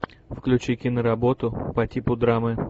включи киноработу по типу драмы